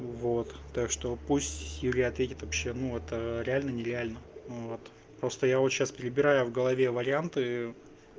вот так что пусть юля ответит вообще ну это реально нереально вот просто я вот сейчас перебирая в голове варианты